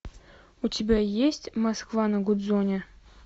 у тебя есть москва на гудзоне